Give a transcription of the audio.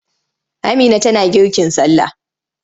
Amina tana girkin sallah.